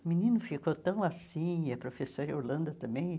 O menino ficou tão assim e a professora Yolanda também.